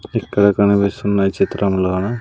ఇక్కడ కనిపిస్తున్న ఈ చిత్రంలోన--